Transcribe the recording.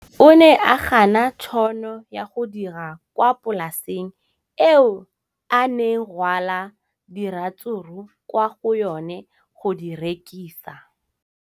O ne a gana tšhono ya go dira kwa polaseng eo a neng rwala diratsuru kwa go yona go di rekisa.